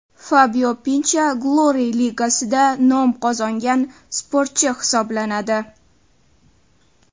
Fabio Pincha Glory ligasida nom qozongan sportchi hisoblanadi.